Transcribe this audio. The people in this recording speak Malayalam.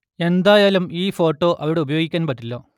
എന്തായാലും ഈ ഫോട്ടോ അവിടെ ഉപയോഗിക്കാൻ പറ്റില്ല